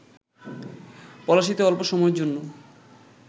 পলাশীতে অল্প সময়ের জন্য